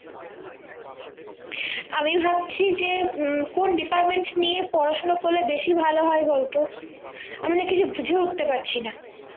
আমি ভাবছি যে কোন department নিয়ে পড়াশুনো করলে বেশি ভালো হয় বলতো আমি না কিছু বুঝে উঠতে পারছি না